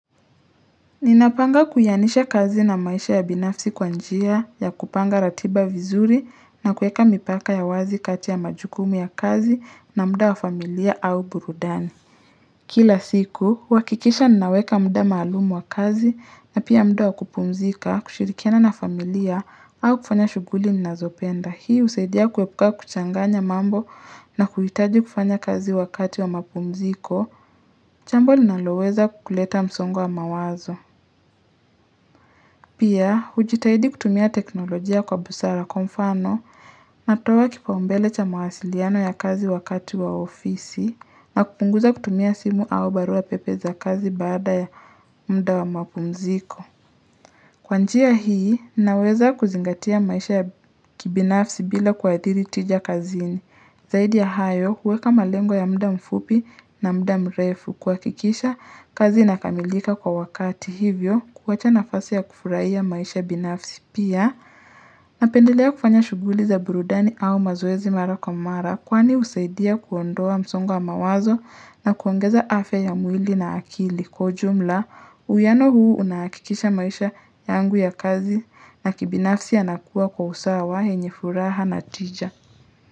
Ninapanga kuyanisha kazi na maisha ya binafsi kwa njia ya kupanga ratiba vizuri na kueka mipaka ya wazi kati ya majukumu ya kazi na muda wa familia au burudani. Kila siku, huhakikisha ninaweka muda maalumu wa kazi na pia muda wa kupumzika, kushirikiana na familia au kufanya shughuli nazopenda. Hii husaidia kuepuka kuchanganya mambo na kuhitaji kufanya kazi wakati wa mapumziko, jambo linaloweza kuleta msongo wa mawazo. Pia, hujitahidi kutumia teknolojia kwa busara kwa mfano natoa kipaumbele cha mawasiliano ya kazi wakati wa ofisi na kupunguza kutumia simu au barua pepe za kazi baada ya muda wa mapumziko. Kwa njia hii naweza kuzingatia maisha ya kibinafsi bila kuadhiri tija kazini. Zaidi ya hayo kuweka malengo ya muda mfupi na muda mrefu kuhakikisha kazi inakamilika kwa wakati hivyo kuwacha nafasi ya kufurahia maisha binafsi pia napendelea kufanya shughuli za burudani au mazoezi mara kwa mara kwani husaidia kuondoa msongo wa mawazo na kuongeza afya ya mwili na akili. Kwa ujumla uwiano huu una hakikisha maisha yangu ya kazi na kibinafsi yanakuwa kwa usawa yenye furaha na tija.